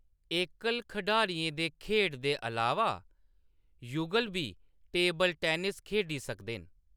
एकल खढारियें दे खेढ दे अलावा युगल बी टेबल टेनिस खेढी सकदे न।